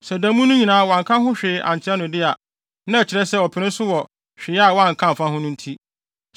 Sɛ da mu no nyinaa wanka ho hwee ankyerɛ no de a, na ɛkyerɛ sɛ ɔpene so wɔ hwee a wanka amfa ho no nti.